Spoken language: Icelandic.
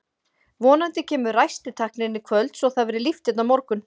Vonandi kemur ræstitæknirinn í kvöld svo að það verði líft hérna á morgun.